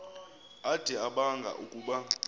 ade abanga ukuba